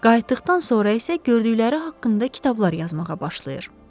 Qayıtdıqdan sonra isə gördükləri haqqında kitablar yazmağa başlayır.